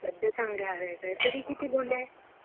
सद्धया चांगले आहे. तरी किती बोन्डे आहेत?